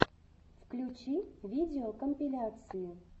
включи видеокомпиляции